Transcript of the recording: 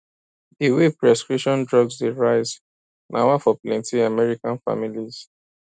di way prescription drugs dey rise na wah for plenty american families